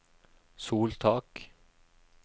soltak